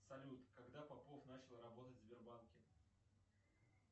салют когда попов начал работать в сбербанке